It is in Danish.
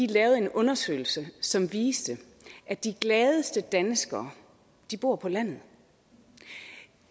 lavet en undersøgelse som har vist at de gladeste danskere bor på landet